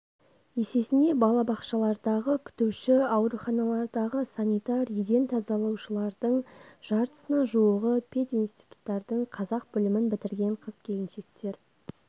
есесіне балабақшалардағы күтуші ауруханалардағы санитар еден тазалаушылардың жартысына жуығы пединституттардың қазақ бөлімін бітірген қыз-келіншектер